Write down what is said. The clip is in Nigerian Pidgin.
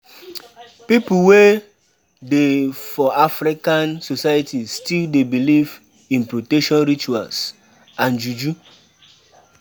Pipo wey dey for African societies still dey believe in protection rituals and juju